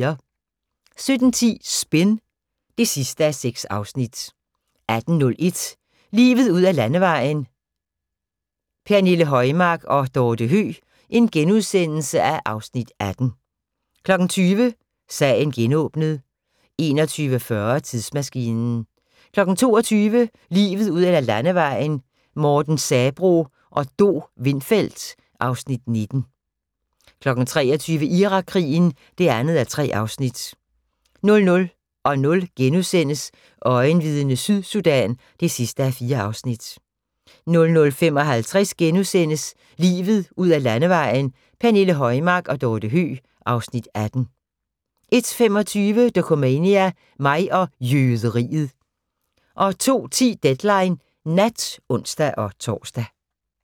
17:10: Spin (6:6) 18:01: Livet ud ad landevejen: Pernille Højmark og Dorthe Høeg (Afs. 18)* 20:00: Sagen genåbnet 21:40: Tidsmaskinen 22:00: Livet ud ad landevejen: Morten Sabroe og Do Windfeldt (Afs. 19) 23:00: Irakkrigen (2:3) 00:00: Øjenvidne - Sydsudan (4:4)* 00:55: Livet ud ad landevejen: Pernille Højmark og Dorthe Høeg (Afs. 18)* 01:25: Dokumania: Mig og jøderiet 02:10: Deadline Nat (ons-tor)